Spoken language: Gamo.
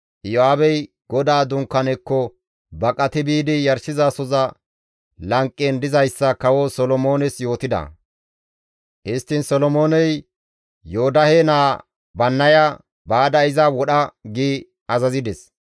Iyo7aabey GODAA Dunkkaanekko baqati biidi yarshizasoza lanqen dizayssa kawo Solomoones yootida; histtiin Solomooney Yoodahe naa Bannaya, «Baada iza wodha!» gi azazides.